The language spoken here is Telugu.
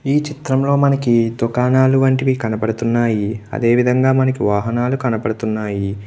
ఈ చిత్రంలో మనకి దుకాణాలు లాంటివి కనబడుతున్నాను అదేవిధంగా మనకి వాహనాలు కనబడుతున్నాయి.